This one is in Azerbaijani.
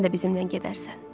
Sən də bizimlə gedərsən.